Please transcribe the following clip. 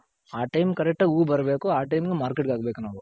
ಆ time ಗೆ correct ಆಗಿ ಹೂ ಬರಬೇಕು ಆ time ಗೆ Market ಗೆ ಹಾಕ್ ಬೇಕ್ ನಾವು.